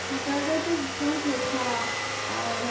টার ও তো ভীষণ শরীর খারাপ। আহ